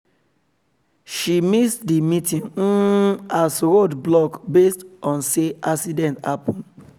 she miss the meeting um as road block based on say accident happen